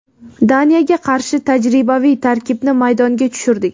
Daniyaga qarshi tajribaviy tarkibni maydonga tushirdik.